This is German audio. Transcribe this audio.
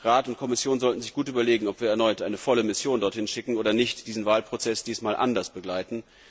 Rat und Kommission sollten sich gut überlegen, ob wir erneut eine volle Mission dorthin schicken oder nicht und diesen Wahlprozess diesmal anders begleiten.